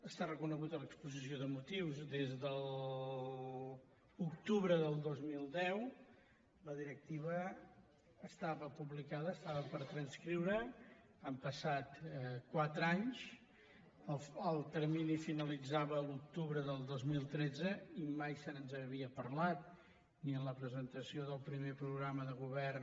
està reconegut en l’exposició de motius des de l’octubre del dos mil deu la directiva estava publicada es·tava per transposar han passat quatre anys el termini finalitzava l’octubre del dos mil tretze i mai se’ns n’havia par·lat ni en la presentació del primer programa de go·vern